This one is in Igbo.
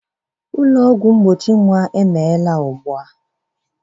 Ụlọ ọgwụ mgbochi nwa emeghela ugbu a